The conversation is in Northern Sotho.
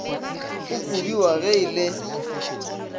go kobiwa ge e le